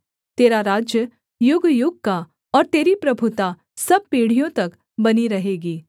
तेरा राज्य युगयुग का और तेरी प्रभुता सब पीढ़ियों तक बनी रहेगी